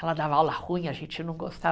Ela dava aula ruim, a gente não gostava.